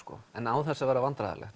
en án þess að vera vandræðalegt